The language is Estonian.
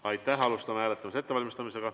Siis alustame hääletuse ettevalmistamist.